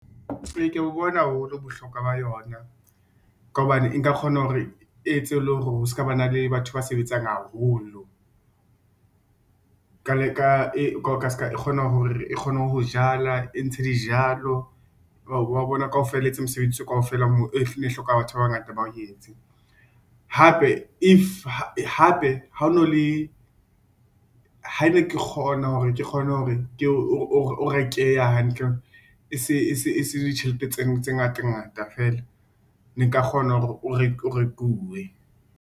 Ee, ke ya bo bona haholo bohlokwa ba yona, ka hobane e nka kgona hore e etse le hore ho ska ba na le batho ba sebetsang haholo ka ska e kgona hore e kgone ho jala, e ntshe dijalo wa bona kaofela e etse mosebetsi kaofela moo e ne hloka batho ba bangata ba o etse. Hape if ha ne ke kgona , hore o rekeha hantle, e se ditjhelete tse ngata ngata feela ne nka kgona hore o rekuwe.